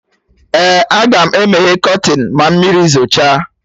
Ee, Agam emeye kọtịnụ ma mmiri zocha